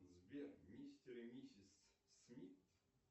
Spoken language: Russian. сбер мистер и миссис смит